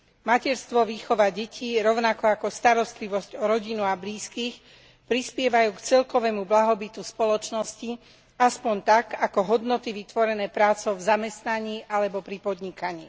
Materstvo, výchova detí, rovnako ako starostlivosť o rodinu a blízkych prispievajú k celkovému blahobytu spoločnosti aspoň tak, ako hodnoty vytvorené prácou v zamestnaní alebo pri podnikaní.